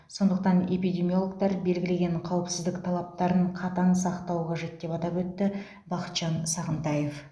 сондықтан эпидемиологтар белгілеген қауіпсіздік талаптарын қатаң сақтау қажет деп атап өтті бахытжан сағынтаев